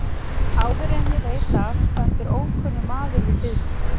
Áður en ég veit af stendur ókunnur maður við hlið mér.